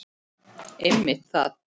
Einmitt það.